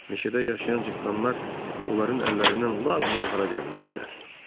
Meşədə yaşayan cıtdanlar onların əllərindən lap zinhara gəlmişdilər.